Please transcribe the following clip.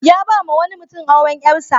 Ya ba wa wani mutum auren ƴarsa.